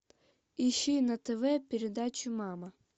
ищи на тв передачу мама